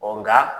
nka